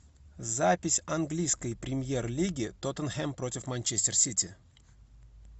запись английской премьер лиги тоттенхэм против манчестер сити